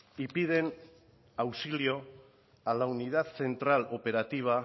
y piden auxilio a la unidad central operativa